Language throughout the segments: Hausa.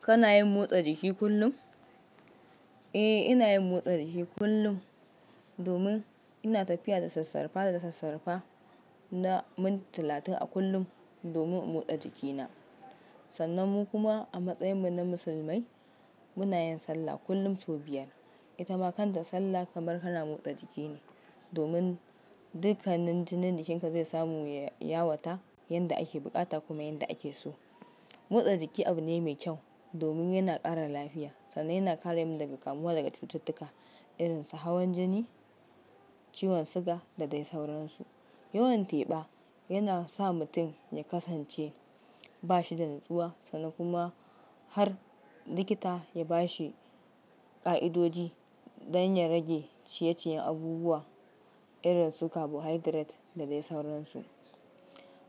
Kana yin motsa jiki kullum? Eh, ina yin motsa jiki kullum domin ina tafiya da sassarfa da sassarfa na minti talatin a kullum domin in motsa jikina. Sannan mu kuma a matsayinmu na musulmai muna yin sallah kullum sau biyar. Ita ma kanta sallah kamar kana motsa jiki ne domin dukkanin jinin jikinka zai samu ya yawata yanda ake bukata kuma yanda ake so. Motsa jiki abu ne mai kyau domin yana ƙara lafiya sannan yana kare mu daga kamuwa daga cututtuka irin su hawan jini, ciwon siga da dai sauransu. Yawan teba yana sa mutum ya kasance ba shi da natsuwa sannan kuma har likita ya ba shi ƙa'idoji dan ya rage ciyeciyen abubuwa irin su carbohydrate da dai sauransu.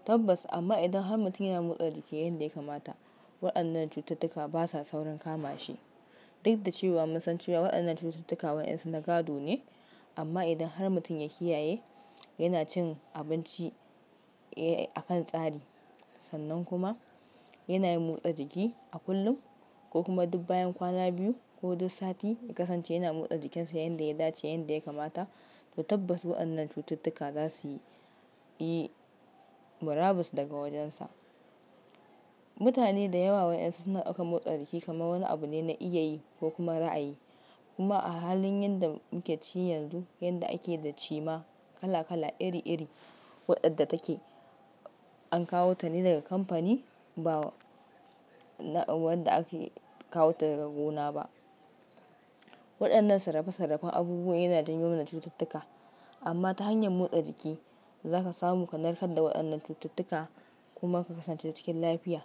Tabbas amma idan har mutum yana motsa jiki yanda ya kamata, waɗannan cututtuka basa saurin kama shi. Duk da cewa mun san cewa waɗannan cututtuka waɗansu na gado ne, amma idan har mutum ya kiyaye yana cin abinci a kan tsari sannan kuma yana yin motsa jiki a kullum ko kuma duk bayan kwana biyu ko duk sati ya kasance yana motsa jikinsa yanda ya dace yanda ya kamata, to tabbas waɗannan cututtuka zasuyi murabus daga wajensa. Mutane da yawa wa'yansu suna ɗaukan motsa jiki kamar wani abu ne na iya yi ko kuma ra'ayi. Kuma a halin yanda muke ci yanzu yanda ake da cima kala kala iri iri waɗanda take an kawo ta ne daga kamfani ba waɗanda aka kawo ta daga gona ba. Waɗannan sarrafa sarrafen abubuwa yana janyo wa cututtuka amma ta hanyar motsa jiki zaka samu ka narkar da waɗannan cututtuka kuma ka kasance cikin lafiya.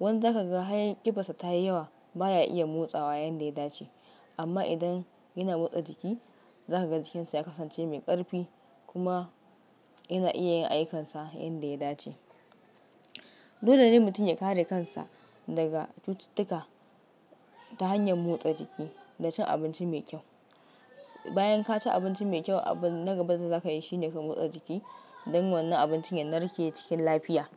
Wani zaka ga hanyar ƙibarsa ta yi yawa baya iya motsawa yanda ya dace. Amma idan yana motsa jiki zaka ga jikinsa ya kasance mai ƙarfi kuma yana iya yin aikansa yanda ya dace. Dole ne mutum ya kare kansa daga cututtuka ta hanyar motsa jiki da cin abinci mai kyau. Bayan ka ci abinci mai kyau abin na gaba da zaka yi shine ka motsa jiki don wannan abincin ya narke cikin lafiya.